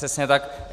Přesně tak.